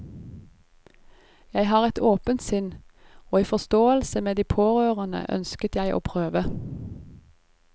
Jeg har et åpent sinn, og i forståelse med de pårørende ønsket jeg å prøve.